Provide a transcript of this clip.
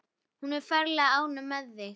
Hún er ferlega ánægð með þig.